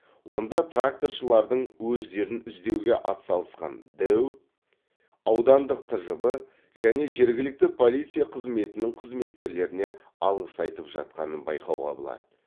онда тракторшылардың өздерін іздеуге атсалысқан дэу аудандық тжб және жергілікті полиция қызметінің қызметкерлеріне алғыс айтып жатқанын байқауға болады